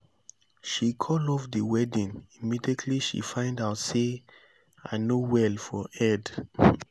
she call off the wedding immediately she find out say say i no well for head